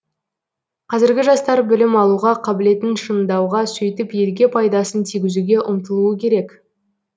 қазіргі жастар білім алуға қабілетін шыңдауға сөйтіп елге пайдасын тигізуге ұмтылуы керек